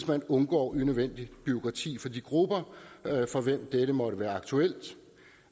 man undgår unødvendigt bureaukrati for de grupper for hvem dette måtte være aktuelt